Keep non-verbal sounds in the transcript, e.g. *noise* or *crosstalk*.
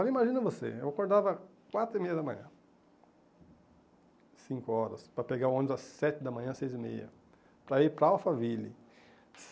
*unintelligible* imagina você, eu acordava quatro e meia da manhã, cinco horas, para pegar o ônibus às sete da manhã, seis e meia, para ir para Alphaville.